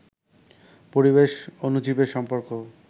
পরিবেশ, অণুজীবের সম্পর্ক